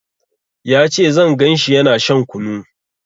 Ya ce zan ganshi yana shan kunu